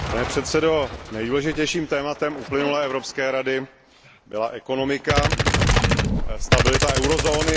Pane předsedající, nejdůležitějším tématem uplynulé Evropské rady byla ekonomika, stabilita eurozóny.